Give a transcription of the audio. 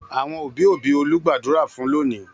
Àwọn òbí-òbí Olú gbàdúrà fún lónìí.